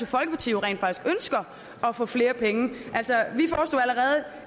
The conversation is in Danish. folkeparti rent faktisk ønsker at få flere penge altså